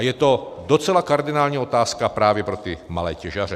A je to docela kardinální otázka právě pro ty malé těžaře.